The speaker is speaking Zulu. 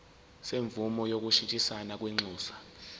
semvume yokushintshisana kwinxusa